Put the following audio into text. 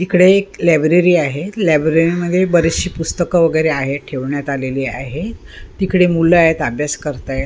इकडे एक लायब्ररी आहे लायब्ररी मध्ये बरीचशी पुस्तके वगैरे आहेत ठेवण्यात आलेली आहे तिकडे मुलं आहेत अभ्यास करतायेत.